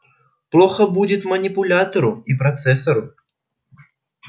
плохо будет манипулятору и процессору